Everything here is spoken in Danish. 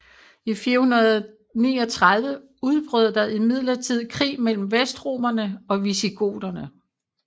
I 439 udbrød der imidlertid krig mellem vestromerne og visigoterne